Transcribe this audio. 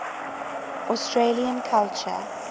australian culture